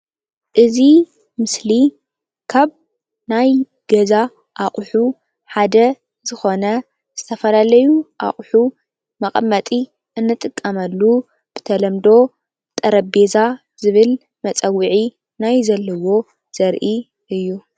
እዚ ምስሊ ካብ ናይ ገዛ ኣቕሑ ሓደ ዝኾነ ዝተፈላለዩ ኣቕሑ መቀመጢ እንጥቀመሉ ብተለምዶ ጠረጴዛ ዝብል መፀውዒ ናይ ዘለዎ ዘርኢ እዩ።